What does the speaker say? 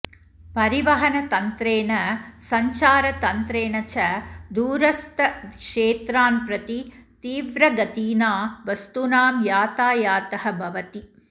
परिवहनतन्त्रेण सञ्चारतन्त्रेण च दूरस्थक्षेत्रान् प्रति तीव्रगतिना वस्तूनां यातायातः भवति